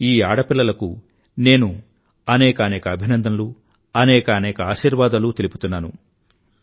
ఈ ఆడపిల్లలకి నేను అనేకానేక అభినందనలు అనేకానేక ఆశీర్వాదాలు తెలుపుతున్నాను